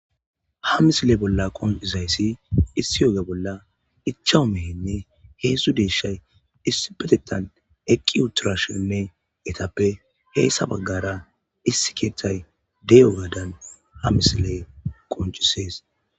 Ha misile bolla conc,idayisi issi ogge bolla ichashu mehenne hedzdzu deshayi isspetettan eqiutidashininne etappe hesa bagare issi kethayi dizayisa beses